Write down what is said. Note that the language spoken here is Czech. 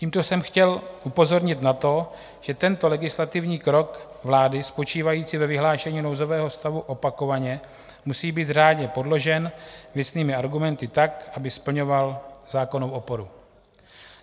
Tímto jsem chtěl upozornit na to, že tento legislativní krok vlády spočívající ve vyhlášení nouzového stavu opakovaně musí být řádně podložen věcnými argumenty tak, aby splňoval zákonnou oporu.